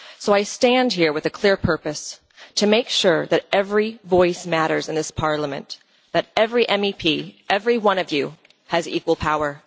So I stand here with a clear purpose to make sure that every voice matters in this Parliament and that every MEP every one of you has equal power.